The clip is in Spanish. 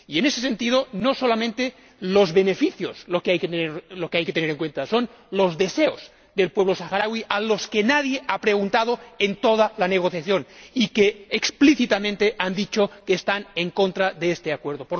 Y, en ese sentido, no son solamente los beneficios lo que hay que tener en cuenta, son los deseos del pueblo saharaui, al que nadie ha preguntado en toda la negociación y que, explícitamente, ha dicho que está en contra de este Acuerdo.